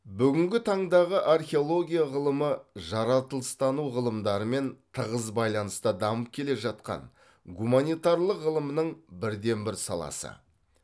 бүгінгі таңдағы археология ғылымы жаратылыстану ғылымдарымен тығыз байланыста дамып келе жатқан гуманитарлық ғылымның бірден бір саласы